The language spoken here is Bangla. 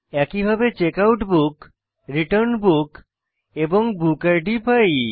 একইভাবে checkout book return book এবং বুক ইদ পাই